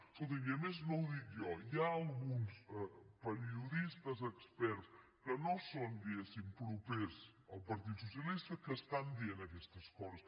escolti’m i a més no ho dic jo hi ha alguns periodistes experts que no són diguéssim propers al partit socialista que estan dient aquestes coses